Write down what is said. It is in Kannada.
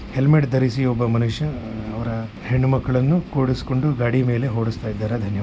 ಹೆಲ್ಮೆಟ್ ದರಿಸಿ ಒಬ್ಬ ಮನುಷ್ಯ ಅವರ ಹೆಣ್ಣು ಮಕ್ಕಳನ್ನು ಕೂರಿಸಿಕೊಂಡು ಗಾಡಿ ಮೇಲೆ ಓಡಿಸತ್ತಿದ್ದಾರೆ ದನ್ಯವಾದ.